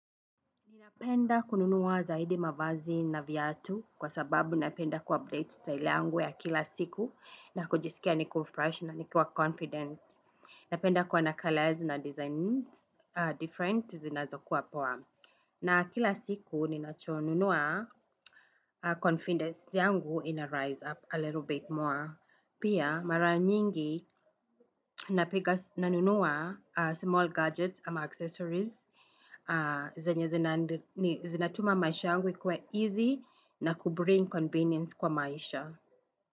Ninapenda kununua zaidi mavazi na viatu kwa sababu napenda ku-update staili yangu ya kila siku na kujisikia kuwa fresh na kuwa confident. Napenda kwa sababu ya kalezi na design tofauti zinazokuwa poa. Na kila siku ninachonunua, confidence yangu ina-rise up a little bit more. Pia, mara nyingi nanunua small gadgets ama accessories. Zinatuma maisha angu kwa easy na kubring convenience kwa maisha.